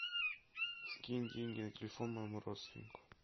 скинь деньги на телефон моему родственнику